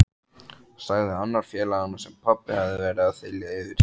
sagði annar félaganna sem pabbi hafði verið að þylja yfir.